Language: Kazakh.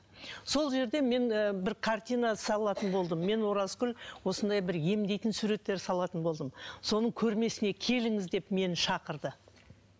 сол жерде мен ы бір картина салатын болдым мен оразкүл осындай бір емдейтін суреттер салатын болдым соның көрмесіне келіңіз деп мені шақырды